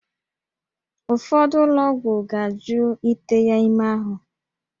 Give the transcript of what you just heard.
Ụfọdụ ụlọ ọgwụ ga-ajụ ite ya ime ahụ